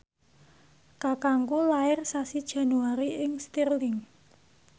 kakangku lair sasi Januari ing Stirling